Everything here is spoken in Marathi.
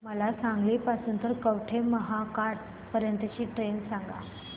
मला सांगली पासून तर कवठेमहांकाळ पर्यंत ची ट्रेन सांगा